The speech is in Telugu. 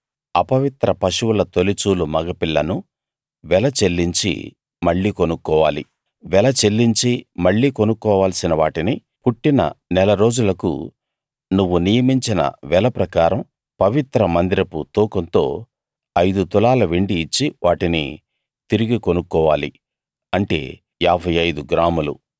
అపవిత్ర పశువుల తొలిచూలు మగపిల్లను వెల చెల్లించి మళ్ళీ కొనుక్కోవాలి వెల చెల్లించి మళ్ళీ కొనుక్కోవాల్సిన వాటిని పుట్టిన నెల రోజులకు నువ్వు నియమించిన వెల ప్రకారం పవిత్ర మందిరపు తూకంతో ఐదు తులాల వెండి ఇచ్చి వాటిని తిరిగి కొనుక్కోవాలి అంటే 55 గ్రాములు